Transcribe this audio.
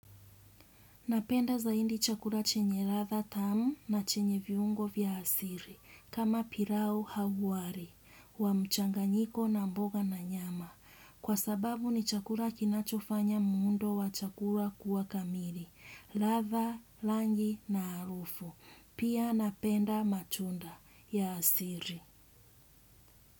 Napenda zaidi chakula chenye ladha tamu na chenye viungo vya asili, kama pilau au wali wa mchanganyiko na mboga na nyama. Kwa sababu ni chakula kinachofanya muundo wa chakula kuwa kamili, ladha, rangi na harufu. Pia napenda matunda ya asili.